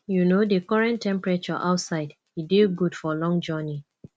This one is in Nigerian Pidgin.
you know di current temperature outside e dey good for long journey